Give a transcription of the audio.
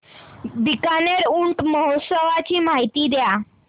बीकानेर ऊंट महोत्सवाची माहिती द्या